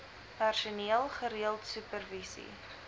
personeel gereeld supervisie